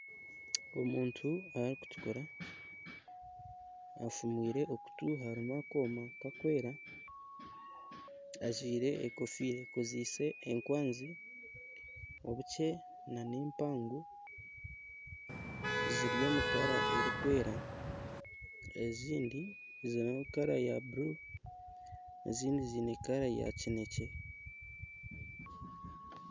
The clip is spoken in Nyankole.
Omuntu arikutukura afumwire okutu harimu akooma karikwera ajwaire enkofiira ekozeise enkwanzi, obukye n'empango. Ziri omu rangi erikwera ezindi ziri omu rangi ya bururu ezindi ziine rangi ya kinekye.